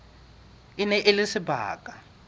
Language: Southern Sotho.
e ne e le sebaka